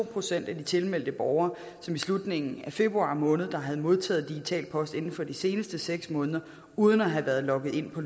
procent af de tilmeldte borgere som i slutningen af februar måned havde modtaget digital post inden for de seneste seks måneder uden at have været logget ind på